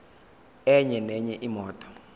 enye nenye imoto